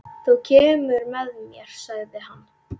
Þú kemur með mér, sagði hann.